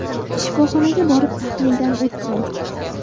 Shifoxonaga borib, tahlildan o‘tdim.